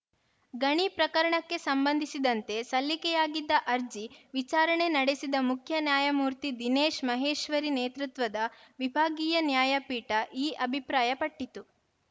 ಗಣಿ ಪ್ರಕರಣಕ್ಕೆ ಸಂಬಂಧಿಸಿದಂತೆ ಸಲ್ಲಿಕೆಯಾಗಿದ್ದ ಅರ್ಜಿ ವಿಚಾರಣೆ ನಡೆಸಿದ ಮುಖ್ಯ ನ್ಯಾಯಮೂರ್ತಿ ದಿನೇಶ್‌ ಮಹೇಶ್ವರಿ ನೇತೃತ್ವದ ವಿಭಾಗೀಯ ನ್ಯಾಯಪೀಠ ಈ ಅಭಿಪ್ರಾಯಪಟ್ಟಿತು